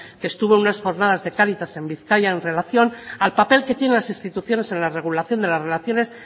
que estuvo unas jornadas de cáritas en bizkaia en relación al papel que tienen las instituciones en la regulación de la relaciones